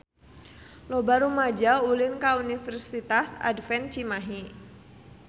Loba rumaja ulin ka Universitas Advent Cimahi